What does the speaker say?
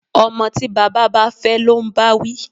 Ọmọ tí baba fẹ́ ló ń báwí